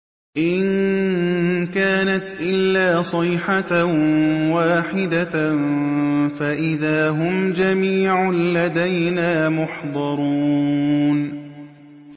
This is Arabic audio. إِن كَانَتْ إِلَّا صَيْحَةً وَاحِدَةً فَإِذَا هُمْ جَمِيعٌ لَّدَيْنَا مُحْضَرُونَ